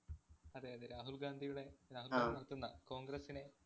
അതെ, അതേ. രാഹുല്‍ ഗാന്ധിയുടെ രാഹുല്‍ ഗാന്ധി നടത്തുന്ന കോണ്‍ഗ്രസിനെ